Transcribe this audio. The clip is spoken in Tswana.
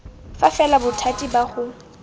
fa fela bothati ba go